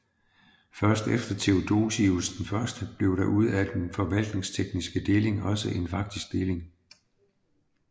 Først efter Theodosius I blev der ud af den forvaltningstekniske deling også en faktisk deling